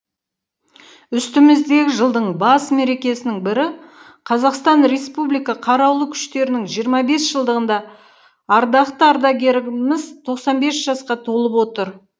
үстіміздегі жылдың бас мерекесінің бірі қазақстан республика қарулы күштерінің жиырма бес жылдығында ардақты ардагеріміз тоқсан бес жасқа толып отыр